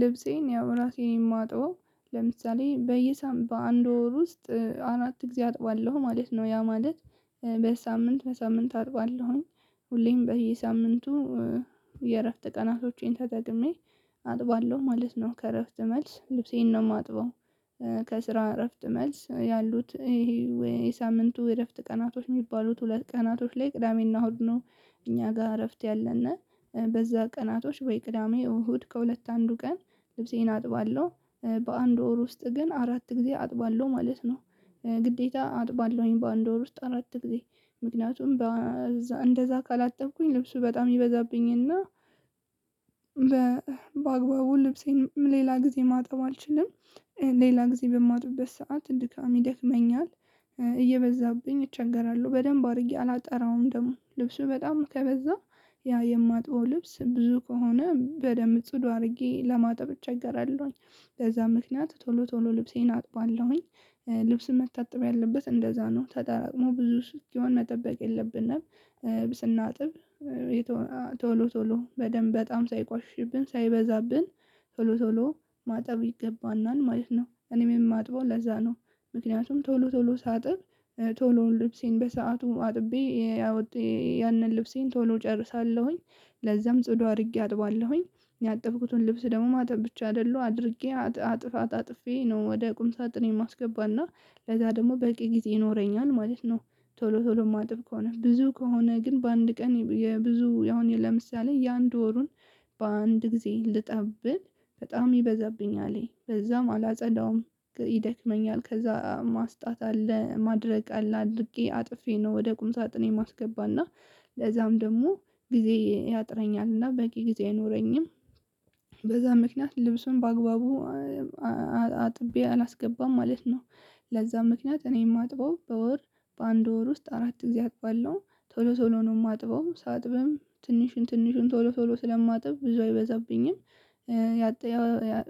ልብሴን ያው ራሴ ነኝ የማጥበው ለምሳሌ በየሳም በአንድ ወር ውስጥ አራት ጊዜ አጥባለሁ ማለት ነው ያ ማለት በሳምንት በሳምንት አጥባለሁኝ። ሁሌም በየሳምንቱ የእረፍት ቀናቶቼን ተጠቅሜ አጥባለሁ ማለት ነው። ከእረፍት መልስ ልብሴን ነው የማጥበው ከስራ እረፍት መልስ ያሉት ይሄ የሳምንቱ የእረፍት ቀናቶች የሚባሉት ሁለት ቀናቶች ላይ ቅዳሜና እሁድ ነው። እኛ ጋር እረፍት ያለን በዛ ቀናቶች ወይ ቅዳሜ እሁድ ከሁለት አንዱ ቀን ልብሴን አጥባለሁ በአንድ ወር ውስጥ ግን አራት ጊዜ አጥባለሁ ማለት ነው። ግዴታ አጥባለሁኝ በአንድ ወር ውስጥ አራት ጊዜ ምክንያቱም በእዛ እንደዛ ካላጠብኩኝ ልብሱ በጣም ይበዛብኝና። በአግባቡ ልብሴን ሌላ ጊዜ ማጠብ አልችልም። ሌላ ጊዜ በማጥብበት ሰዓት ድካም ይደክመኛል። እየበዛብኝ እቸገራለሁ በደንብ አድርጌ አላጠራውም ደግሞ ልብሱ በጣም ከበዛ ያ የማጥበው ልብስ ብዙ ከሆነ በደንብ ጽዱ አድርጌ ለማጠብ እቸገራለሁኝ። ለዛ ምክንያት ቶሎ ቶሎ ልብሴን አጥባለሁኝ። ልብስ መታጠብ ያለበት እንደዛ ነው ተደራቅሞ ብዙ እስኪሆን መጠበቅ የለብንም። ስናጥብ ቶሎ ቶሎ በደንብ በጣም ሳይቆሽሽብን ሳይበዛብን ቶሎ ቶሎ ማጠብ ይገባናል ማለት ነው። እኔም የማጥበው ለዛ ነው። ምክንያቱም ቶሎ ቶሎ ሳጥብ ቶሎ ልብሴን በሰአቱ አጥቤ ያው ያንን ልብሴን ቶሎ እጨርሳለሁኝ። ለዛም ጽዱ አድርጌ አጥባለሁኝ። ያጠብኩትን ልብስ ደግሞ ማጠብ ብቻ አይደለሁ አድርጌ አጣጥፌ ነው ወደ ቁም ሳጥኔ ማስገባና ለዛ ደግሞ በቂ ጊዜ ይኖረኛል ማለት ነው። ቶሎ ቶሎ የማጥብ ከሆነ ብዙ ከሆነ ግን በአንድ ቀን የብዙ ያሁን ለምሳሌ የአንድ ወሩን በአንድ ጊዜ ልጠብ ብል በጣም ይበዛብኛል ከዛም አላጸዳውም። ይደክመኛል ከዛ ማስጣት አለ ማድረቅ አለ አድርቄ አጥፌ ነው ወደ ቁም ሳጥን የማስገባና ለዛም ደግሞ ጊዜ ያጥረኛልና በቂ ጊዜ አይኖረኝም። በዛ ምክንያት ልብሱን በአግባቡ አጥቤ አላስገባም ማለት ነው። ለዛ ምክንያት እኔ የማጥበው በወር በአንድ ወር ውስጥ አራት ጊዜ አጥባለሁ። ቶሎ ቶሎ ነው የማጥበው ሳጥብም ትንሹን ትንሹን ቶሎ ቶሎ ስለማጥብ ብዙ አይበዛብኝም። ያጣ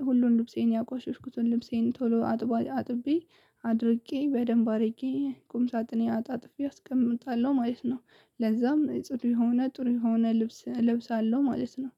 ሁሉን ልብሴን ያቆሸሽኩትን ልብሴን ቶሎ አጥብ አጥቤ አድርቄ በደንብ አድርጌ ቁም ሳጥኔ አጣጥፌ አስቀምጣለሁ ማለት ነው። ለዛም ጥሩ የሆነ ጥሩ የሆነ ልብስ እለብሳለሁ ማለት ነው።